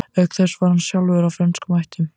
Auk þess var hann sjálfur af frönskum ættum.